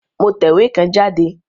Mo tẹ̀wé kan jáde